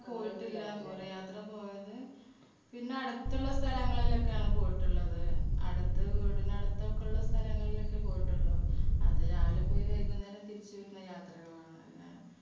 പോയിട്ടില്ല ദൂരയാത്ര പോയത് പിന്നെ അടുത്തുള്ള സ്ഥലങ്ങളിലൊക്കെയാണ് പോയിട്ടുള്ളത് അടുത്ത വീടിനടുത്തൊക്കെള്ള സ്ഥലങ്ങളിലൊക്കെ പോയിട്ടുള്ളൂ അത് രാവിലെ പോയി വൈകുന്നേരം തിരിച്ചുവരുന്ന യാത്രകളാണ്